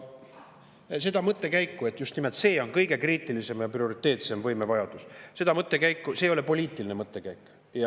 See mõttekäik, mis just nimelt on kõige kriitilisem ja prioriteetsem võimevajadus, ei ole poliitiline mõttekäik.